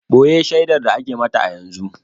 Boye shaidar da ake mata a yanzu